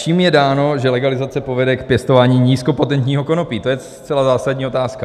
Čím je dáno, že legalizace povede k pěstování nízkopotentního konopí: To je zcela zásadní otázka.